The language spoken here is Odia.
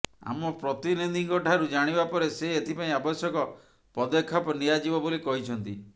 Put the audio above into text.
ଆମ ପ୍ରତିନିଧିଙ୍କ ଠାରୁ ଜାଣିବା ପରେ ସେ ଏଥିପାଇଁ ଅବଶ୍ୟକ ପଦକ୍ଷେପ ନିଆଯିବ ବୋଲି କହିଛନ୍ତି